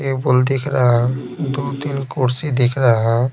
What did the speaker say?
table दिख रहा है दु-तीन कुर्सी दिख रहा --